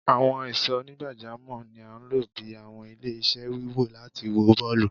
Awọn ìsò onigbajamo ní a lọ bí àwọn ile-iṣẹ́ wíwò láti wó bọọlu